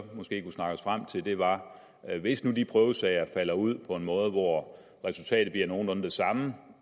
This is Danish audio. måske kunne snakke os frem til var at hvis nu de prøvesager falder ud på en måde hvor resultatet bliver nogenlunde det samme